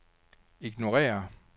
ignorér